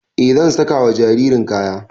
E zan saka wa jaririn kaya